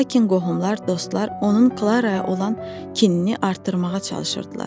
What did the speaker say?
Lakin qohumlar, dostlar onun Klaraya olan kinini artırmağa çalışırdılar.